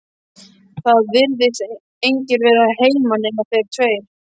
Það virðast engir vera heima nema þeir tveir.